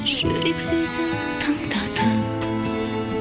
жүрек сөзін тыңдатып